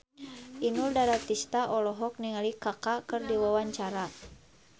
Inul Daratista olohok ningali Kaka keur diwawancara